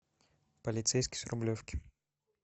полицейский с рублевки